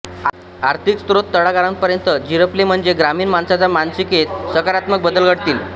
आर्थिक स्रोत तळागाळापर्यंत झिरपले म्हणजे ग्रामीण माणसाच्या मानसिकतेत सकारात्मक बदल घडतील